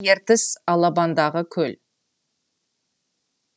ертіс алабындағы көл